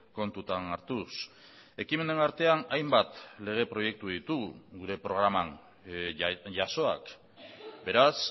kontutan hartuz ekimenen artean hainbat lege proiektu ditugu gure programan jasoak beraz